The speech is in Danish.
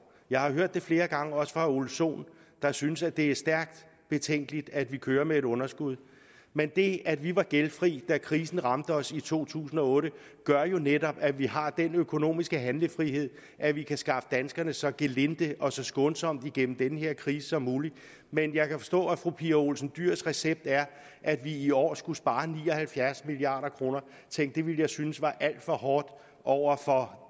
jeg har hørt det flere gange også fra herre ole sohn der synes at det er stærkt betænkeligt at vi kører med et underskud men det at vi var gældfri da krisen ramte os i to tusind og otte gør jo netop at vi har den økonomiske handlefrihed at vi kan skaffe danskerne så gelinde og så skånsomt igennem den her krise som muligt men jeg kan forstå at fru pia olsen dyhrs recept er at vi i år skulle spare ni og halvfjerds milliard kroner tænk det ville jeg synes var alt for hårdt over for